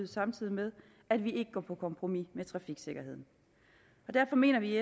samtidig med at vi ikke går på kompromis med trafiksikkerheden derfor mener vi i